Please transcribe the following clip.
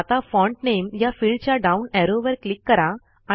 आता फॉन्ट नामे या फिल्डच्या डाऊन ऍरोवर क्लिक करा